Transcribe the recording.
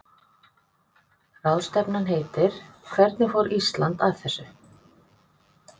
Ráðstefnan heitir Hvernig fór Ísland að þessu?